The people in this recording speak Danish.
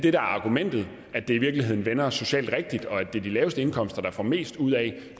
er argumentet at det i virkeligheden vender socialt rigtigt og at det er de laveste indkomster der får mest ud af